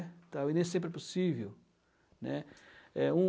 tal e nem sempre é possível, né? É um